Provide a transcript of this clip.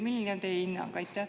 Milline on teie hinnang?